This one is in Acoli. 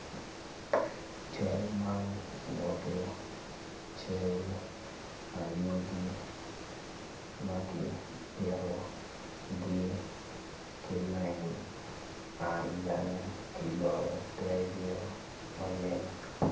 Cal man nyuto cal anyogi maki bitogi ki lain man bene kidoyo tergi o maleng.